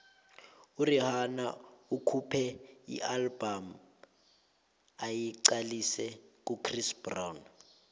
urhihana ukhuphe ialbum ayiqalise kuchris brown